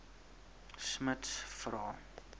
smuts vra